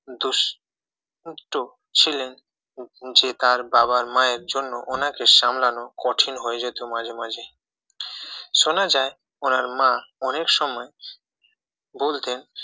দুষ্টু ছিলেন যে তার বাবা মায়ের জন্য উনাকে সামলানো কঠিন হয়ে যেত মাঝে মাঝে শোনা যায় উনার মা অনেক সময় বলতেন